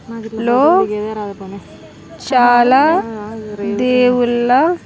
లో చాలా దేవుళ్ళ --